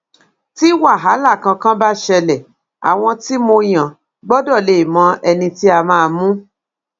tí wàhálà kankan bá ṣẹlẹ àwọn tí mo yàn gbọdọ lè mọ ẹni tí á máa mu